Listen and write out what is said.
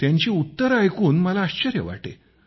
त्यांची उत्तरे ऐकून मला आश्चर्य वाटे